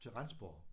Til Rendsborg